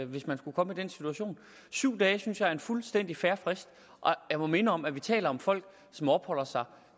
hvis man skulle komme i den situation syv dage synes jeg er en fuldstændig fair frist og jeg må minde om at vi taler om folk som opholder sig